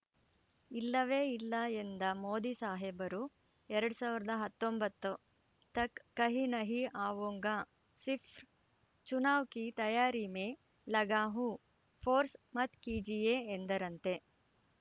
ಇಲ್ಲವೇ ಇಲ್ಲ ಎಂದ ಮೋದಿ ಸಾಹೇಬರು ಎರಡ್ ಸಾವಿರದ ಹತ್ತೊಂಬತ್ತು ತಕ್‌ ಕಹಿ ನಹೀ ಆವೂಂಗಾ ಸಿರ್ಫ್ ಚುನಾವ್‌ ಕಿ ತಯಾರಿ ಮೇ ಲಗಾ ಹೂಂ ಫೋರ್ಸ್‌ ಮತ್‌ ಕೀಜಿಯೇ ಎಂದರಂತೆ